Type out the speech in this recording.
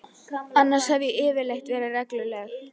Annars hef ég yfirleitt verið regluleg.